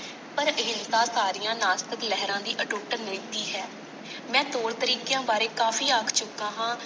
ਪਰ ਅਹਿੰਸਾ ਸਾਰੀਆਂ ਨਾਸਤਿਕ ਲਹਿਰਾਂ ਦੀ ਅਟੁੱਟ ਨੀਤੀ ਹੈ। ਮੈਂ ਤੋਰ ਤਰੀਕਿਆਂ ਬਾਰੇ ਕਾਫ਼ੀ ਆਖ ਚੁੱਕਾ ਹਾਂ।